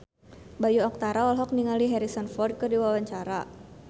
Bayu Octara olohok ningali Harrison Ford keur diwawancara